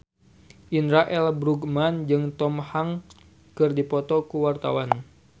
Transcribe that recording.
Indra L. Bruggman jeung Tom Hanks keur dipoto ku wartawan